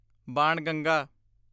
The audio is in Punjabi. ਬਾਣਗੰਗਾ